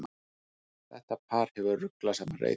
Þetta par hefur ruglað saman reytum.